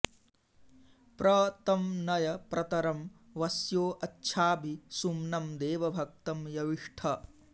प्र तं न॑य प्रत॒रं वस्यो॒ अच्छा॒भि सु॒म्नं दे॒वभ॑क्तं यविष्ठ